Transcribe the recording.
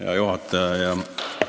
Hea juhataja!